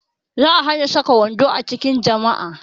Za a hana saka wando a cikin jami'a